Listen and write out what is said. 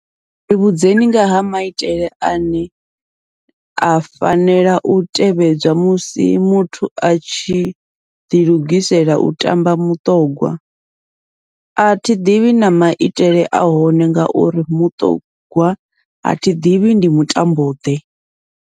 Ri vhudzeni nga ha maitele ane a fanela u tevhedzwa musi muthu a tshi ḓilugisela u tamba muṱongwa, athi ḓivhi na maitele a hone ngauri muṱogwa athi ḓivhi ndi mutambo ḓe.